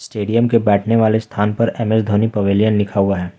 Stadium के बैठने वाले स्थान पर एस धोनी पवेलियन लिखा हुआ है।